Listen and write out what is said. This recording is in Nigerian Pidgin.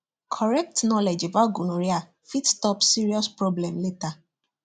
correct knowledge about gonorrhea fit stop serious problem later